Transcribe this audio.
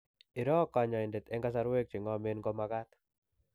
iroo kanyoindetEng' kasarwek che ng'omen ko magat